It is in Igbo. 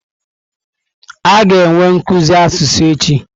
A ga-enwe nkuzi asụsụ echi.